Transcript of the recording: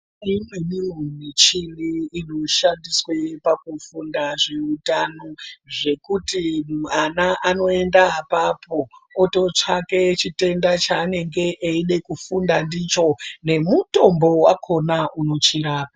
Imweniwo muchini inoshandiswa pakufunda zveutano zvekuti mwana anoenda apapo ototsvake chitenda chaanenge eida kufunda ndicho nemutombo wakhona unochirapa.